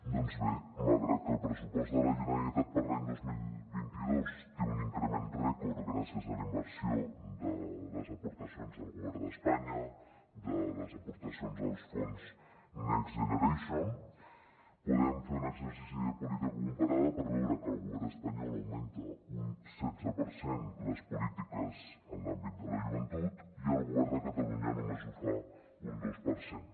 doncs bé malgrat que el pressupost de la generalitat per a l’any dos mil vint dos té un increment rècord gràcies a la inversió de les aportacions del govern d’espanya de les aportacions dels fons next generation podem fer un exercici de política comparada per veure que el govern espanyol augmenta un setze per cent les polítiques en l’àmbit de la joventut i el govern de catalunya només ho fa un dos per cent